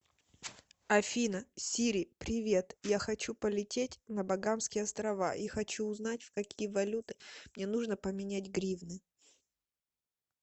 афина сири привет я хочу полететь на багамские острова и хочу узнать в какие валюты мне нужно поменять гривны